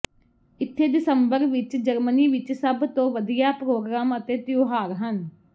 ਇੱਥੇ ਦਸੰਬਰ ਵਿੱਚ ਜਰਮਨੀ ਵਿੱਚ ਸਭ ਤੋਂ ਵਧੀਆ ਪ੍ਰੋਗਰਾਮ ਅਤੇ ਤਿਉਹਾਰ ਹਨ